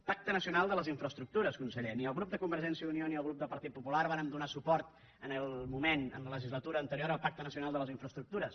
pacte nacional de les infraestructures conseller ni el grup de convergència i unió ni el grup del partit popular vàrem donar suport en el moment en la legislatura anterior al pacte nacional de les infraestructures